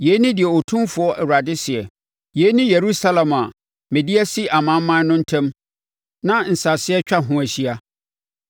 “Yei ne deɛ Otumfoɔ Awurade seɛ: Yei ne Yerusalem a mede asi amanaman no ntam na nsase atwa ho ahyia.